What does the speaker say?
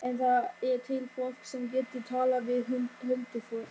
En það er til fólk sem getur talað við huldufólk.